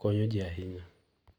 konyo ji ahinya.